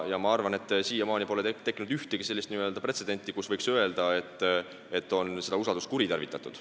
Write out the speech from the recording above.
Ma arvan, et siiamaani pole tekkinud ühtegi sellist pretsedenti, mille puhul võiks öelda, et on usaldust kuritarvitatud.